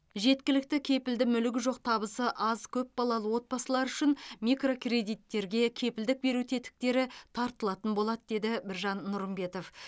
жеткілікті кепілді мүлігі жоқ табысы аз көпбалалы отбасылар үшін микрокредиттерге кепілдік беру тетіктері тартылатын болады деді біржан нұрымбетов